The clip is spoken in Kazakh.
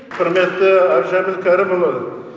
құрметті әбдіжәміл кәрімұлы